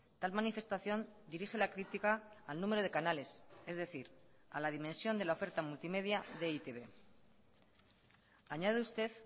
tal manifestación dirige la crítica al número de canales es decir a la dimensión de la oferta multimedia de e i te be añade usted